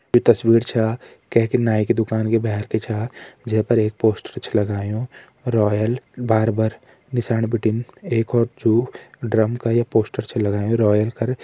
ये तस्वीर छा कैकी नाईं की दुकान की भैर की छा जै पर एक पोस्टर छ लगायुं रॉयल बार्बर । निशाण बिटिन एक और चु ड्रम का ये पोस्टर छ लगायुं रॉयल कर।